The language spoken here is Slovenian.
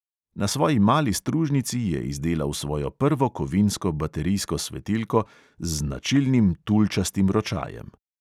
Na svoji mali stružnici je izdelal svojo prvo kovinsko baterijsko svetilko z značilnim tulčastim ročajem.